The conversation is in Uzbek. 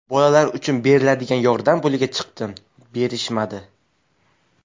Bolalar uchun beriladigan yordam puliga chiqdim, berishmadi.